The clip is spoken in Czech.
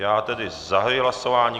Já tedy zahajuji hlasování.